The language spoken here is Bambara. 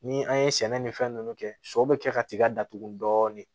Ni an ye sɛnɛ ni fɛn nunnu kɛ sɔ bɛ kɛ ka tiga datugu dɔɔnin